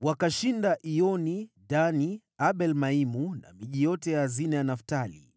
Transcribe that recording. Wakashinda Iyoni, Dani, Abel-Maimu na miji yote ya hazina ya Naftali.